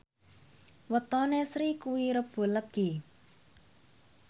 wetone Sri kuwi Rebo Legi